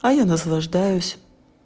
а я наслаждаюсь